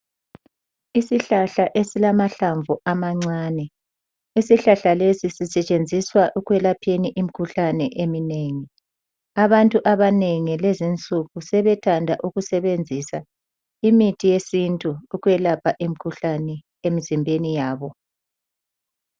Isihlahla esilamahlamvu amancane. Isihlahla lesi sisetshenziswa ukulapha imkhuhlane eminengi. Abantu abanengi lezinsuku sebethanda ukusebenzisa imithi yesintu ukwelapha imkhuhlane emizimbeni wabo.